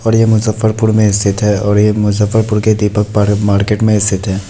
और यह मुजफ्फरपुर में स्थित है और यह मुजफ्फरपुर के दीपक पार्क मार्केट में स्थित है।